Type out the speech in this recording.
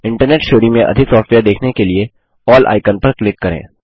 internet श्रेणी में अधिक सॉफ्टवेयर देखने के लिए अल्ल आइकन पर क्लिक करें